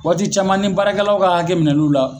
Waati caman ni baarakɛlaw ka hakɛminɛ n'u la